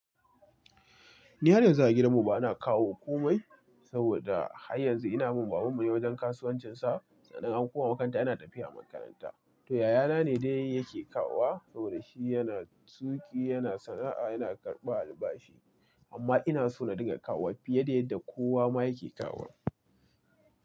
Ni har yanzu a gidanmu bana kawo komai saboda har yanzu ina bin babanmu ne wajen kasuwancinsa. Sannan an koma makaranta ina tafiya makaranta. To yayana ne dai yake kawo wa saboda shi yana tuƙi, yana sana’a, yana karɓa albashi. Amma ina so na dinga kawo wa fiye da yadda kowa ma yake kawo.